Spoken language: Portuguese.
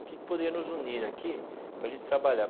O que poderia nos unir aqui para a gente trabalhar?